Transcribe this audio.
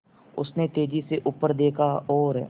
उसने तेज़ी से ऊपर देखा और